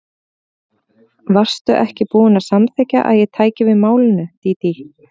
Varstu ekki búin að samþykkja að ég tæki við málinu, Dídí?